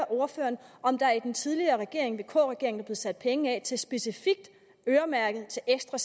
ordføreren om der i den tidligere regering vk regeringen er sat penge af specifikt øremærket til ekstra